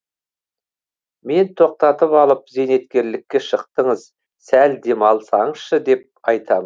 мен тоқтатып алып зейнеткерлікке шықтыңыз сәл демалсаңызшы деп айтамын